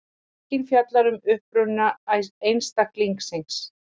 Spurningin fjallar um uppruna einstaklings.